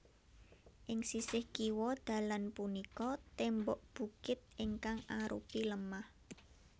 Ing sisih kiwa dalan punika tembok bukit ingkang arupi lemah